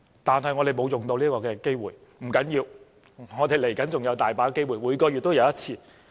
但是，我們沒有利用這個機會，不要緊，我們接着還有很多機會，每月也有1次。